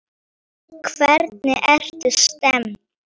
Hvernig ertu stemmd?